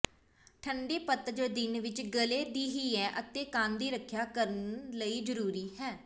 ਠੰਡੇ ਪਤਝੜ ਦਿਨ ਵਿੱਚ ਗਲ਼ੇ ਦੀ ਹੈ ਅਤੇ ਕੰਨ ਦੀ ਰੱਖਿਆ ਕਰਨ ਲਈ ਜ਼ਰੂਰੀ ਹੈ